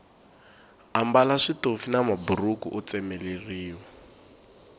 ambala switofi na maburhuku o tsemeleriwa